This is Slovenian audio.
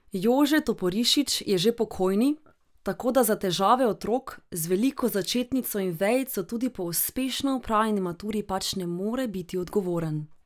Jože Toporišič je že pokojni, tako da za težave otrok z veliko začetnico in vejico tudi po uspešno opravljeni maturi pač ne more biti odgovoren.